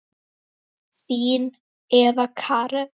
Þín Eva Karen.